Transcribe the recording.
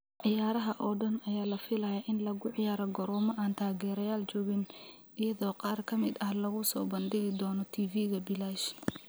Ciyaaraha oo dhan ayaa la filayaa in lagu ciyaaro garoomo aan taageerayaal joogin, iyadoo qaar ka mid ah lagu soo bandhigi doono TV-ga bilaash.